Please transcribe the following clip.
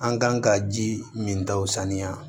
An kan ka ji min ta o saniya